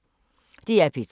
DR P3